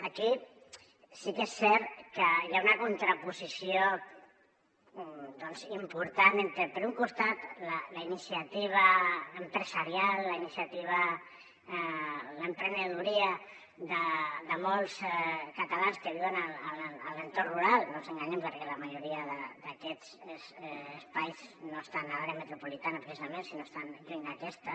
aquí sí que és cert que hi ha una contraposició important entre per un costat la iniciativa empresarial l’emprenedoria de molts catalans que viuen en l’entorn rural no ens enganyem perquè la majoria d’aquests espais no estan a l’àrea metropolitana precisament sinó que estan lluny d’aquesta